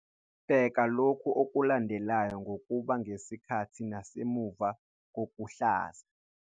Bheka lokhu okulandelayo kokubili ngesikhathi nasemuva kokuhlanza.